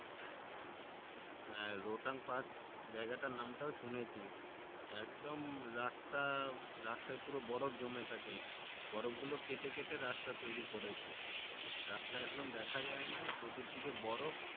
হ্যাঁ রোথাংপাস জায়গাটার নাম টাও শুনেছি একদম রাস্তা রাস্তায় পুরো বরফ জমে থাকে বরফ গুলো কেটে কেটে রাস্তা তৈরী করেছে রাস্তা একদম দেখা যায়না চতুর দিকে বরফ